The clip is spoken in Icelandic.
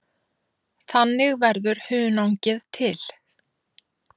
Þannig verður hunangið til.